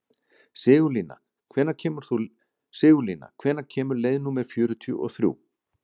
Sigurlína, hvenær kemur leið númer fjörutíu og þrjú?